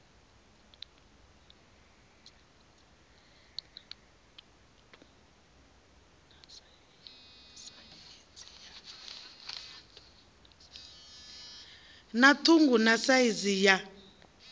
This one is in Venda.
na ṱhungu na saizi ya